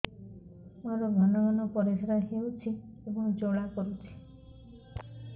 ମୋର ଘନ ଘନ ପରିଶ୍ରା ହେଉଛି ଏବଂ ଜ୍ୱାଳା କରୁଛି